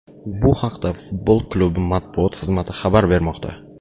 Bu haqda futbol klubi matbuot xizmati xabar bermoqda .